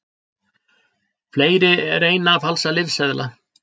Fleiri reyna að falsa lyfseðla